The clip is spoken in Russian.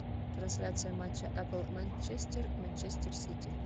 трансляция матча апл манчестер манчестер сити